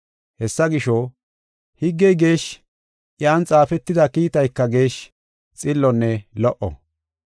Hessa gisho, higgey geeshshi; iyan xaafetida kiitayka geeshshi, xillonne lo77o.